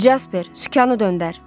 Casper, sükanı döndər.